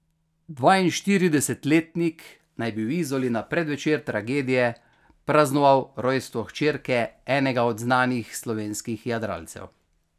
Dvainštiridesetletnik naj bi v Izoli na predvečer tragedije praznoval rojstvo hčerke enega od znanih slovenskih jadralcev.